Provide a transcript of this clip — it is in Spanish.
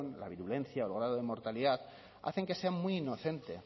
la virulencia o el grado de mortalidad hacen que sea muy inocente